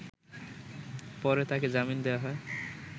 পরে তাকে জামিন দেয়া হয়